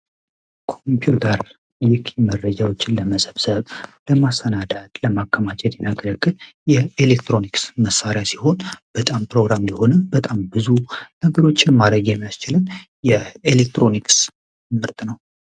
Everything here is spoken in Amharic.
ኮምፒውተር የውጭ መረጃዎችን ለመሰብሰብ ፣ለማሰናዳት ፣ለማከማቸት የሚያገለግል የኤሌክትሮኒክስ መሳሪያ ሲሆን በጣም ፕሮግራምድ የሆነ በጣም ብዙ ነገሮች ለማድረግ የሚያስችል የኤሌክትሮኒክስ ምርት ነው።